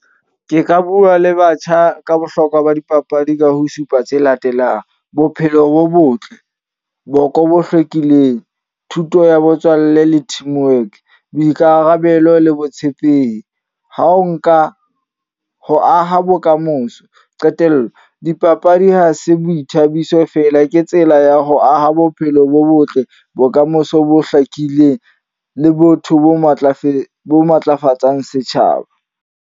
Ke ka bua le batjha ka bohlokwa ba dipapadi ka ho supa tse latelang. Bophelo bo botle, boko bo hlwekileng, thuto ya botswalle le teamwork, boikarabelo le botshepehi. Ha o nka, ho aha bokamoso. Qetello, dipapadi ha se boithabiso feela, ke tsela ya ho aha bophelo bo botle, bokamoso bo hlakileng. Le botho bo matlafetse bo matlafatsang setjhaba.